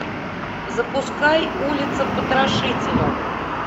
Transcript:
запускай улица потрошителя